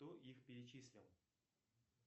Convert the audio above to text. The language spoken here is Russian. кто их перечислил